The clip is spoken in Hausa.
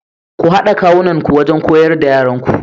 Ku hada kawunanku wajen koyar da yaranku.